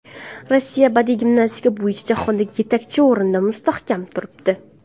Rossiya badiiy gimnastika bo‘yicha jahonda yetakchi o‘rinda mustahkam turibdi.